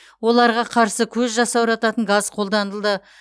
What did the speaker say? оларға қарсы көз жасаурататын газ қолданылды